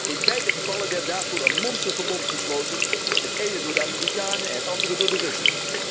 In beide gevallen werd daarvoor een monsterverbond gesloten, het ene door de Amerikanen, het andere door de Russen.